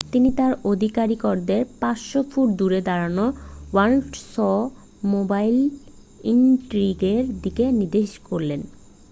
তিনি তাঁর আধিকারিকদের 500 ফুট দূরে দাঁড়ানো ওল্ডসমোবাইল ইনট্রিগের দিকে নির্দেশ করলেন